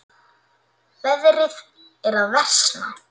Veðrið er að versna.